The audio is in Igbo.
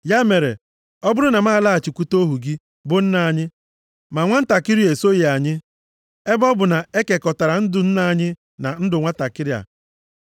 “Ya mere, ọ bụrụ na m alaghachikwute ohu gị, bụ nna anyị, ma nwantakịrị a esoghị anyị, ebe ọ bụ na e kekọtara ndụ nna anyị na ndụ nwantakịrị a,